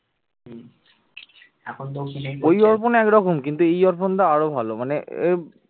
ওই অর্পণ একরকম কিন্তু এই অর্পণ দা আরো ভালো মানে